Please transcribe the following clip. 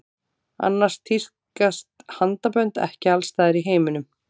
Annars tíðkast handabönd ekki alls staðar í heiminum.